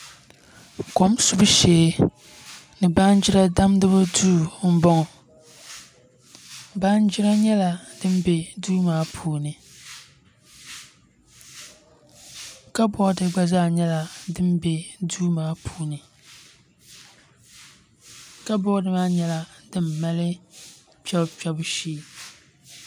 Kom subu shee ni Baanjiri damgibu duu n bɔŋɔ Baanjira nyɛla din bɛ duu maa puuni kabood gba zaa nyɛla din bɛ duu maa puuni kabood maa nyɛla din mali kpɛbu kpɛbu shee